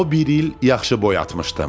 O bir il yaxşı boyatmışdım.